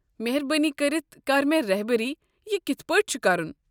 مہربٲنی کٔرتھ كر مےٚ رہبری یہِ کتھ پٲٹھۍ چھُ کرُن؟